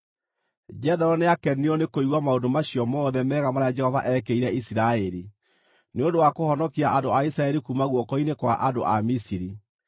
Jethero nĩakenirio nĩ kũigua maũndũ macio mothe mega marĩa Jehova eekĩire Isiraeli, nĩ ũndũ wa kũhonokia andũ a Isiraeli kuuma guoko-inĩ kwa andũ a Misiri.